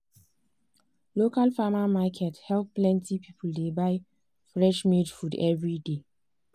local farmer market help plenty people dey buy fresh made food every day.